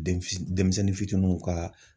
Den fitini denmisɛnnin fitiniw ka